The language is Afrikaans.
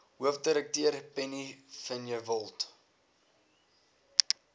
hoofdirekteur penny vinjevold